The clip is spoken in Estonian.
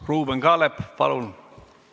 Ruuben Kaalep, palun!